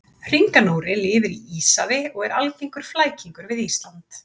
Hringanóri lifir í Íshafi og er algengur flækingur við Ísland.